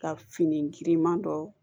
Ka fini giriman dɔ